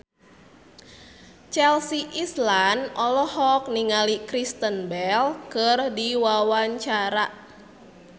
Chelsea Islan olohok ningali Kristen Bell keur diwawancara